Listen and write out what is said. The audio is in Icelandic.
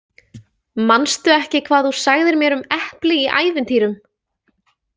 Manstu ekki hvað þú sagðir mér um epli í ævintýrum?